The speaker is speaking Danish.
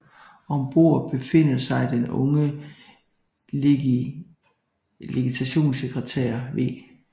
Om bord befinder sig den unge legationssekretær v